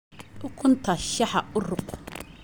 Ukunta shaaha u ruug